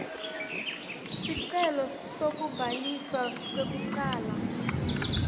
sicelo sekubhaliswa kwekucala